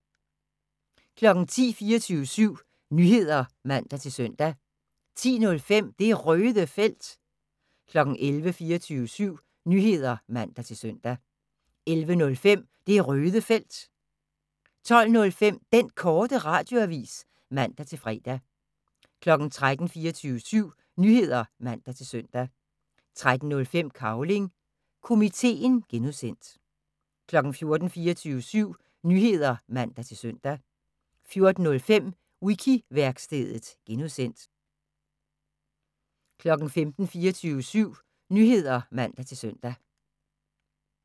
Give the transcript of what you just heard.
10:00: 24syv Nyheder (man-søn) 10:05: Det Røde Felt 11:00: 24syv Nyheder (man-søn) 11:05: Det Røde Felt 12:05: Den Korte Radioavis (man-fre) 13:00: 24syv Nyheder (man-søn) 13:05: Cavling Komiteen (G) 14:00: 24syv Nyheder (man-søn) 14:05: Wiki-værkstedet (G) 15:00: 24syv Nyheder (man-søn)